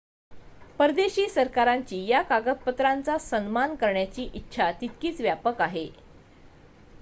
परदेशी सरकारांची या कागदपत्रांचा सन्मान करण्याची इच्छा तितकीच व्यापक आहे